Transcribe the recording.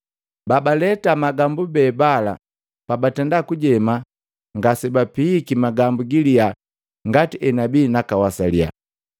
Babaleta magambu be bala pabatenda kujema, ngasebapihiki magambu giliya ngati enabia nakawasalila.